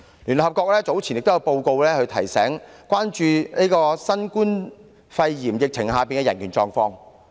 聯合國早前亦發表報告，提醒大家關注新冠肺炎疫情下的人權狀況。